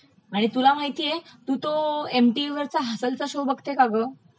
आणि तुला माहितेय तू तो एम टीव्हीरचा हसनंचा शो बघते का ग?